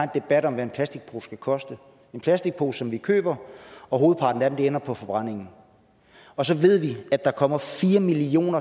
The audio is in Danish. debat om hvad en plastikpose skal koste en plastikpose som vi køber og hovedparten af dem ender på forbrændingen og så ved vi at der kommer fire million